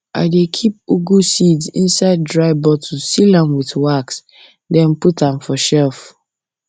i dey keep ugwu seeds inside dry bottle seal am with wax then put am for shelf